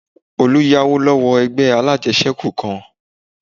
Olú yáwó lọ́wọ́ ẹgbẹ́ alájẹsẹ́kù kan